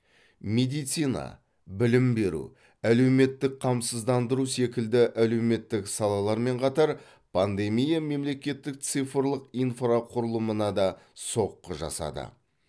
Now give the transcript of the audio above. медицина білім беру әлеуметтік қамсыздандыру секілді әлеуметтік салалармен қатар пандемия мемлекеттік цифрлық инфрақұрылымына да соққы жасады